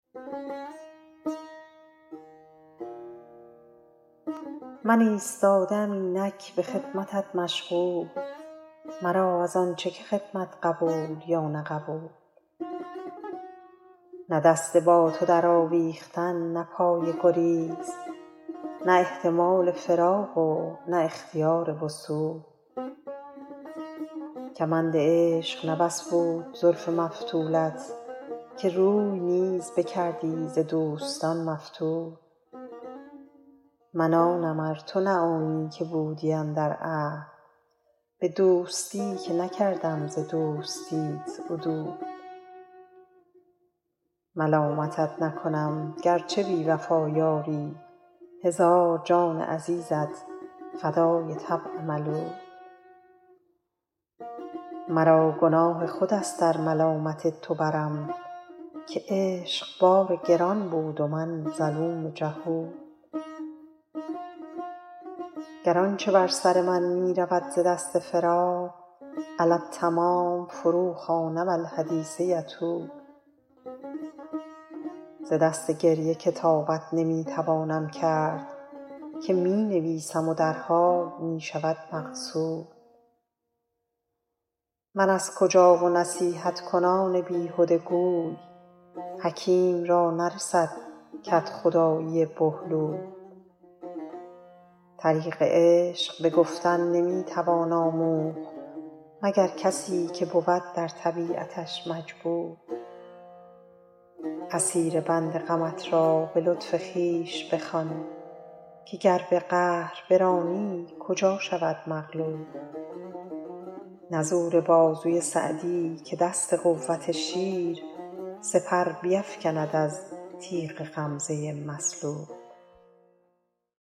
من ایستاده ام اینک به خدمتت مشغول مرا از آن چه که خدمت قبول یا نه قبول نه دست با تو درآویختن نه پای گریز نه احتمال فراق و نه اختیار وصول کمند عشق نه بس بود زلف مفتولت که روی نیز بکردی ز دوستان مفتول من آنم ار تو نه آنی که بودی اندر عهد به دوستی که نکردم ز دوستیت عدول ملامتت نکنم گر چه بی وفا یاری هزار جان عزیزت فدای طبع ملول مرا گناه خود است ار ملامت تو برم که عشق بار گران بود و من ظلوم جهول گر آن چه بر سر من می رود ز دست فراق علی التمام فروخوانم الحدیث یطول ز دست گریه کتابت نمی توانم کرد که می نویسم و در حال می شود مغسول من از کجا و نصیحت کنان بیهده گوی حکیم را نرسد کدخدایی بهلول طریق عشق به گفتن نمی توان آموخت مگر کسی که بود در طبیعتش مجبول اسیر بند غمت را به لطف خویش بخوان که گر به قهر برانی کجا شود مغلول نه زور بازوی سعدی که دست قوت شیر سپر بیفکند از تیغ غمزه مسلول